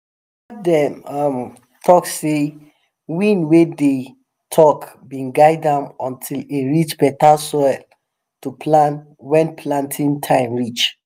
baba dey um talk sey wind wey dey talk been guide am until em reach better soil to plant wen planting time reach